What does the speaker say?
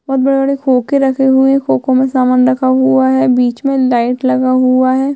बहोत बड़े-बड़े खोके रखे हुए है खोखो में सामान रहा हुआ है बिच में लाइट लगा हुआ है।